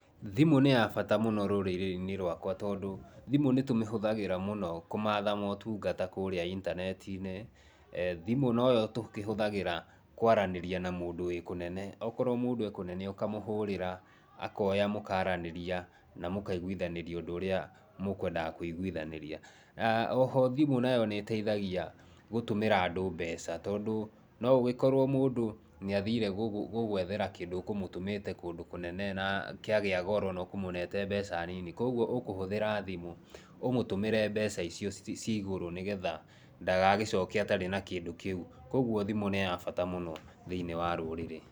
Thimũ nĩ ya bata mũno rũrĩrĩ-inĩ rwakwa tondũ thimũ nĩ tũmĩhũthagĩra mũno kũmatha motungata kũrĩa itaneti-inĩ. Thimũ no yo tũhũthagĩra kwaranĩria na mũndũ wĩ kũnene. Akorwo mũndũ ekũnene ũkamũhũrĩra akoya mũkaranĩria na mũkaiguithanĩria ũndũ ũrĩa mũkwendaga kũiguithanĩria. Oho thimũ nĩ ĩtethagia gũtũmĩra andũ mbeca, tondũ no ũgĩkorwo mũndũ nĩ athire gũgwethera kĩndũ ũkũmũtũmĩte kũndũ kũnene na kúĩagĩa goro no ũkũmũnete mbeca nyinyi, ũkũhũthira thĩmũ ũmũtũmĩre mbeca icio cigũrũ ndagagĩcoke atarĩ na kĩndũ kĩu, kuoguo thĩmũ nĩ ya bata mũno thĩinĩ wa rũrĩrĩ.